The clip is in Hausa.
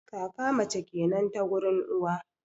kaka mace kenan ta gurin uwa